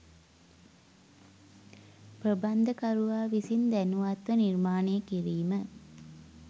ප්‍රබන්ධකරුවා විසින් දැනුවත්ව නිර්මාණය කිරීම